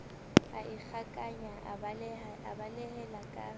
a ikgakanye a balehela ka